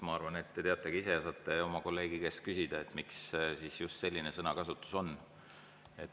Ma arvan, et te teate ka ise ja saate oma kolleegi käest küsida, miks tal just selline sõnakasutus on.